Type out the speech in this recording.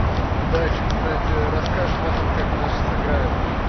удачи кстати расскажешь потом как наши сыграют